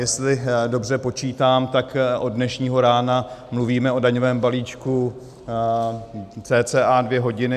Jestli dobře počítám, tak od dnešního rána mluvíme o daňovém balíčku cca dvě hodiny.